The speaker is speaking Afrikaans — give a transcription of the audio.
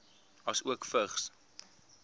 asook vigs